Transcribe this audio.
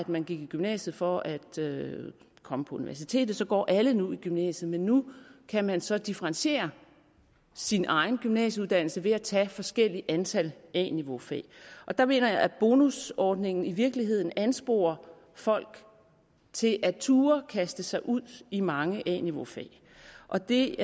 man gik i gymnasiet for at komme på universitetet går alle nu i gymnasiet men nu kan man så differentiere sin egen gymnasieuddannelse ved at tage forskellige antal a niveaufag og der mener jeg at bonusordningen i virkeligheden ansporer folk til at turde kaste sig ud i mange a niveaufag og det